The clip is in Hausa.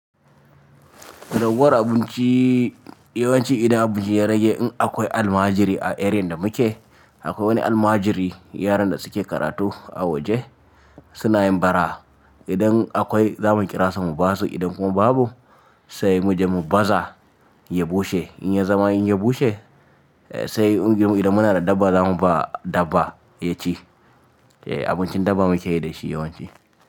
Raguwar abinci yawanci idan abinci ya rage in akwai almajiri a eriyar da muke, akwai wani almajiri yaran da suke karatu a waje suna yin bara. Idan akwai za mu kirasa mu basu idan kuma babu sai muje mu baza ya bushe. In ya zama in ya bushe sai idan muna da dabba za mu ba dabba ya ci. Eh abincin dabba muke yi da shi yawanci.